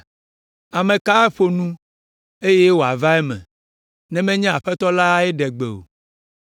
Ame ka aƒo nu eye wòava eme, ne menye Aƒetɔ lae ɖe gbe o?